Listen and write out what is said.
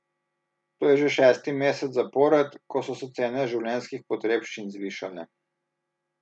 To je že šesti mesec zapored, ko so se cene življenjskih potrebščin zvišale.